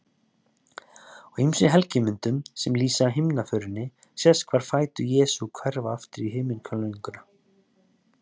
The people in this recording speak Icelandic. Á ýmsum helgimyndum sem lýsa himnaförinni sést hvar fætur Jesú hverfa upp í himinhvelfinguna.